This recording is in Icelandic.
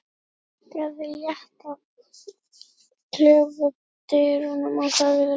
Ég bankaði létt á klefadyrnar og sagði lágt